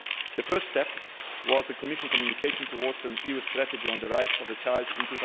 The first step was the Commission communication Towards an EU Strategy on the Rights of the Child' in